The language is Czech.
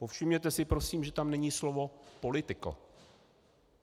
Povšimněte si prosím, že tam není slovo political.